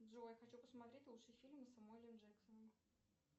джой хочу посмотреть лучшие фильмы с самуэлем джексоном